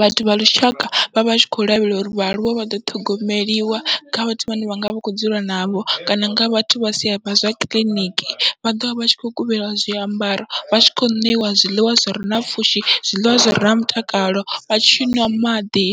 vhathu vha lushaka vhavha vhatshi kho lavhelela uri vhaaluwa vha ḓo ṱhogomeliwa kha vhathu vhane vhanga vha kho dzula navho, kana kha vhathu vha sa zwa kiḽiniki vha ḓovha vha tshi kho kuvhela zwiambaro vha tshi khou ṋeiwa zwiḽiwa zwire na pfhushi, zwiḽiwa zwire na mutakalo vha tshiṅwa maḓi